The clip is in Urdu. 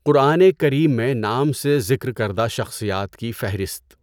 قرآن کریم میں نام سے ذکر کردہ شخصیات کی فہرست